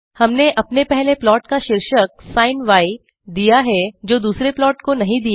हमने अपने पहले प्लाट का शीर्षक सिन दिया है जो दुसरे प्लाट को नहीं दिया